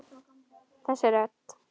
Þessi rödd.